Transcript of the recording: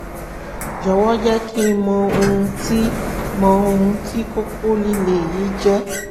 jọ̀wọ́ jẹ́ kí n mọ ohun tí mọ ohun tí kókó líle yìí jẹ́